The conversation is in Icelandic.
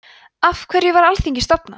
af hverju var alþingi stofnað